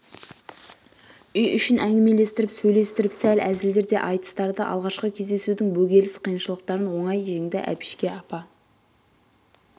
үй ішін әңгімелестіріп сөйлестіріп сәл әзілдер де айтыс-тырды алғашқы кездесудің бөгеліс қиыншылықтарын ондй женді әбішке апа